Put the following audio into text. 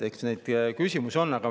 Eks neid küsimusi ole.